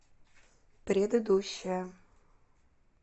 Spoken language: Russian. предыдущая